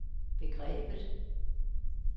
begrebet